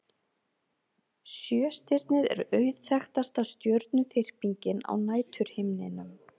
Sjöstirnið er auðþekktasta stjörnuþyrpingin á næturhimninum.